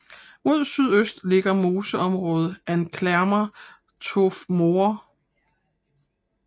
Mod sydøst ligger moseområdet Anklamer Torfmoor